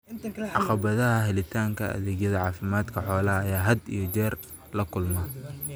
Caqabadaha helitaanka adeegyada caafimaadka xoolaha ayaa had iyo jeer la kulma.